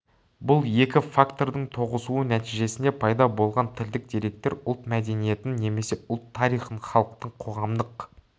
бұл екі фактордың тоғысуы нәтижесінде пайда болған тілдік деректер ұлт мәдениетін немесе ұлт тарихын халықтың қоғамдық